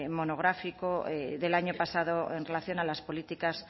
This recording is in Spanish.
monográfico del año pasado en relación a las políticas